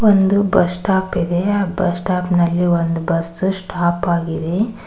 ಒಂದು bus stop ಇದೆ ಆ ಬಸ್ ಸ್ಟಾಪ್ ನಲ್ಲಿ ಒಂದು ಬಸ್ಸು ಸ್ಟಾಪ್ ಆಗಿದೆ.